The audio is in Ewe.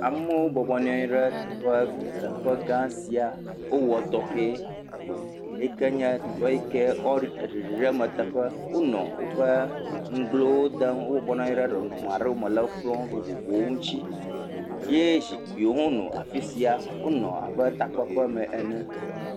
Amewo bɔbɔ nɔ anyi ɖe teƒe gã sia, wò wɔ tɔxɛ. Teƒe yike nye ɖiɖi ɖe me teƒe. Wonɔ woƒe nugblẽ wò ɖem. Wo nɔ anyi ɖe nɔnɔme aɖe me le kplɔ vovovowo ŋuti ye zikpuiwo hã nɔ afisia. Wonɔ abe takpekpe me ene